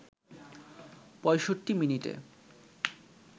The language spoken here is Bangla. ৬৫ মিনিটে